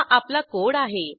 हा आपला कोड आहे